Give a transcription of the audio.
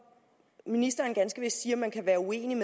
ministeren ganske vist siger at man kan være uenig